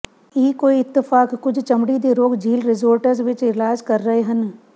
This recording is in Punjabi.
ਇਹ ਕੋਈ ਇਤਫ਼ਾਕ ਕੁਝ ਚਮੜੀ ਦੇ ਰੋਗ ਝੀਲ ਰਿਜ਼ੋਰਟਜ਼ ਵਿੱਚ ਇਲਾਜ ਕਰ ਰਹੇ ਹਨ